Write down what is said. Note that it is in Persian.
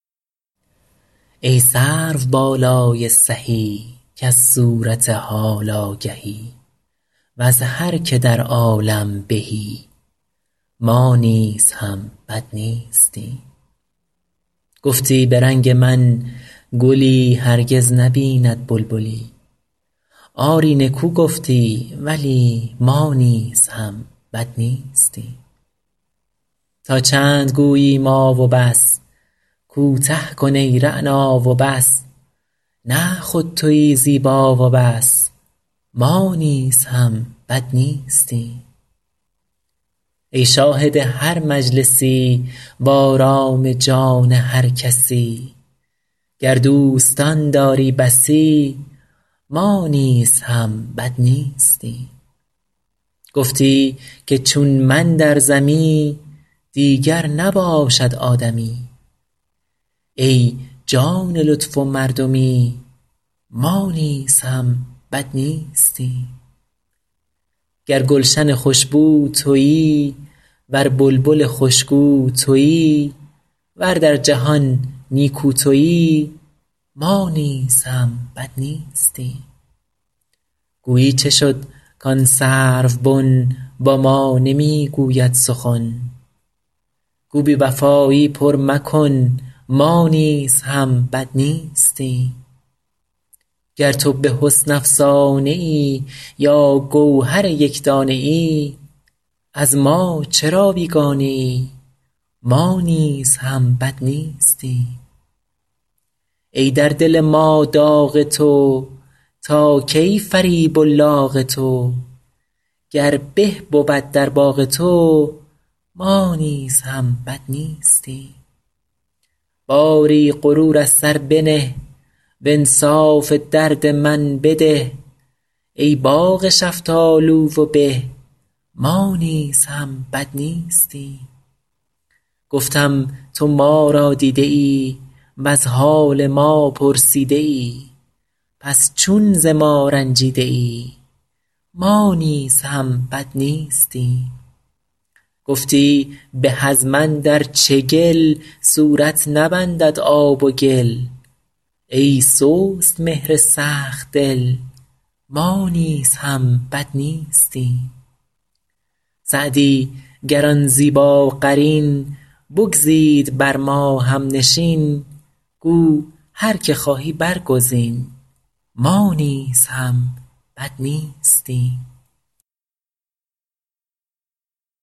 ای سروبالای سهی کز صورت حال آگهی وز هر که در عالم بهی ما نیز هم بد نیستیم گفتی به رنگ من گلی هرگز نبیند بلبلی آری نکو گفتی ولی ما نیز هم بد نیستیم تا چند گویی ما و بس کوته کن ای رعنا و بس نه خود تویی زیبا و بس ما نیز هم بد نیستیم ای شاهد هر مجلسی وآرام جان هر کسی گر دوستان داری بسی ما نیز هم بد نیستیم گفتی که چون من در زمی دیگر نباشد آدمی ای جان لطف و مردمی ما نیز هم بد نیستیم گر گلشن خوش بو تویی ور بلبل خوش گو تویی ور در جهان نیکو تویی ما نیز هم بد نیستیم گویی چه شد کآن سروبن با ما نمی گوید سخن گو بی وفایی پر مکن ما نیز هم بد نیستیم گر تو به حسن افسانه ای یا گوهر یک دانه ای از ما چرا بیگانه ای ما نیز هم بد نیستیم ای در دل ما داغ تو تا کی فریب و لاغ تو گر به بود در باغ تو ما نیز هم بد نیستیم باری غرور از سر بنه وانصاف درد من بده ای باغ شفتالو و به ما نیز هم بد نیستیم گفتم تو ما را دیده ای وز حال ما پرسیده ای پس چون ز ما رنجیده ای ما نیز هم بد نیستیم گفتی به از من در چگل صورت نبندد آب و گل ای سست مهر سخت دل ما نیز هم بد نیستیم سعدی گر آن زیباقرین بگزید بر ما هم نشین گو هر که خواهی برگزین ما نیز هم بد نیستیم